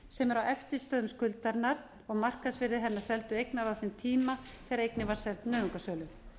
sem er á eftirstöðvum skuldarinnar og markaðsvirði hennar seldu eignar var á þeim tíma þegar eigin var seld nauðungarsölu